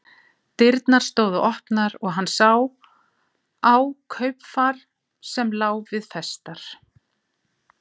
Dyrnar stóðu opnar og hann sá á kaupfar sem lá við festar.